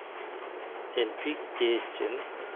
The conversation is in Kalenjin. En pik cheyechen kotam ko pik che kindo tapan en chigilisiet.